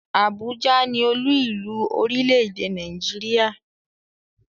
Abuja ni oluilu orile-ede Naijiria